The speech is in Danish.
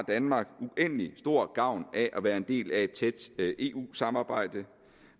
danmark uendelig stor gavn af at være en del af et tæt eu samarbejde